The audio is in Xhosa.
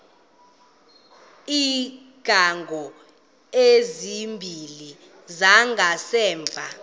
iingcango ezimbini zangasemva